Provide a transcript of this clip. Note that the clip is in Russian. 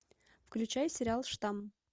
включай сериал штамм